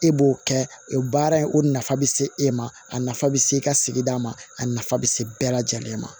E b'o kɛ o baara in o nafa bɛ se e ma a nafa bɛ se e ka sigida ma a nafa bɛ se bɛɛ lajɛlen ma